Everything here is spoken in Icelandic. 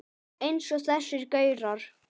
Eins og þessir gaurar!